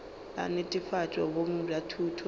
la netefatšo boleng bja thuto